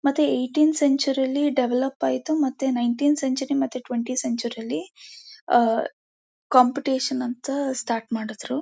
ಮತ್ತೆ eighteenth century ಲ್ಲಿ develop ಆಯಿತು ಮತ್ತೆ ನೈನ್ ಟೀಂತ್ ಸೆಂಚುರಿ ಮತ್ತೆ ಟ್ವೆಂಟಿ ಯೇತ್ ಸೆಂಚುರಿ ಲಿ ಆ ಕಾಂಪಿಟೇಷನ್ ಅಂತ ಸ್ಟಾರ್ಟ್ ಮಾಡಿದ್ರು.